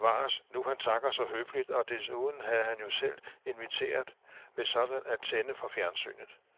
Bevares, nu han takker så høfligt, og desuden havde man jo selv inviteret ved sådan at tænde for fjernsynet.